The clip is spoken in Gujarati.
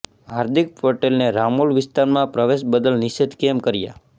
હાર્દિક પટેલને રામોલ વિસ્તારમાં પ્રવેશ બદલ નિષેધ કેમ કર્યો